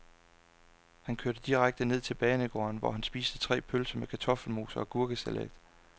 Han kørte direkte ned til banegården, hvor han spiste tre pølser med kartoffelmos og agurkesalat.